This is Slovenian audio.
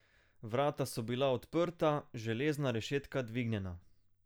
Vrata so bila odprta, železna rešetka dvignjena.